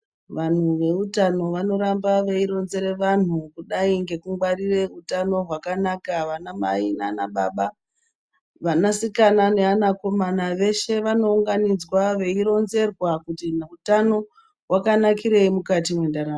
Vanhu veutano vanoramba veironzere vanhu kudai ngeutano hwakanaka. Vanamai, nanababa ,vasikana nevakomana veshe vanounganidzwa veironzerwa kuti utano hwakanakirei mukati mwendaramo.